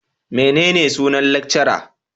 Menene sunan lecturer?